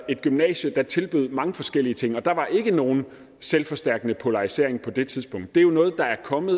et gymnasie der tilbød mange forskellige ting og der var ikke nogen selvforstærkende polarisering på det tidspunkt det er noget der er kommet